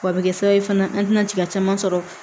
W'a bɛ kɛ sababu ye fana an tɛna jigin caman sɔrɔ